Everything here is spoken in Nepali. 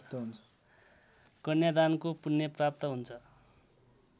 कन्यादानको पुण्यप्राप्त हुन्छ